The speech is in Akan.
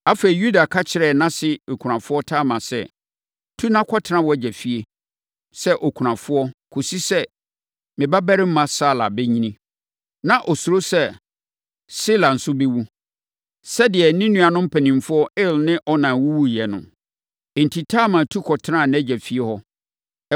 Afei, Yuda ka kyerɛɛ nʼase okunafoɔ Tamar sɛ, “Tu na kɔtena wʼagya fie sɛ okunafoɔ kɔsi sɛ me babarima Sala bɛnyini.” Na ɔsuro sɛ, Sela nso bɛwu, sɛdeɛ ne nuanom mpanimfoɔ Er ne Onan wuwuiɛ no. Enti, Tamar tu kɔtenaa nʼagya fie hɔ.